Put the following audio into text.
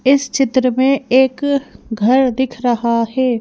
इस चित्र में एक घर दिख रहा है।